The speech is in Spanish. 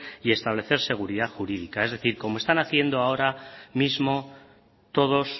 y establecerse seguridad jurídica es decir como están haciendo ahora mismo todos